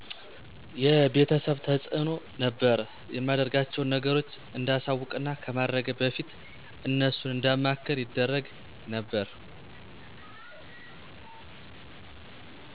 የቤተሰብ ተዕኖ ነበር የማደርጋቸውን ነገሮች እንዳሳወቅና ከማድረጌ በፊት እነሱን እንዳማክር ይደረግ ነበር